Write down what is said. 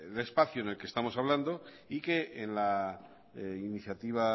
del espacio en el que estamos hablando y que en la iniciativa